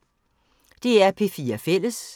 DR P4 Fælles